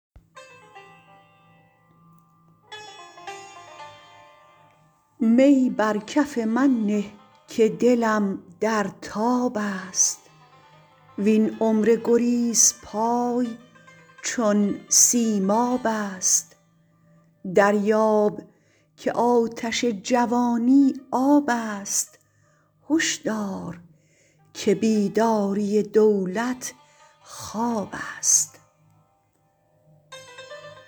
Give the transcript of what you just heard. می بر کف من نه که دلم در تاب است وین عمر گریزپای چون سیماب است دریاب که آتش جوانی آب است هش دار که بیداری دولت خواب است